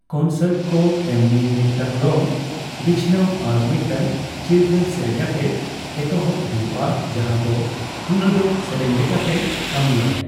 Concert ᱠᱚ ᱮᱢᱱᱤ ᱢᱤᱫᱴᱟᱝ ᱨᱚᱝ ᱵᱤᱪᱷᱟᱱᱟᱹᱣ ᱟᱨ ᱢᱤᱫᱴᱟᱝ ᱪᱤᱨᱜᱟᱹᱞ ᱥᱮᱨᱮᱧ ᱟᱛᱮ ᱮᱛᱚᱦᱚᱵ ᱦᱩᱭᱩᱜᱼᱟ ᱡᱟᱦᱟᱸᱫᱚ ᱩᱱᱩᱰᱟᱹᱣ ᱥᱮᱨᱮᱧ ᱞᱮᱠᱟᱛᱮ ᱠᱟᱹᱢᱤᱼᱟᱭ ᱾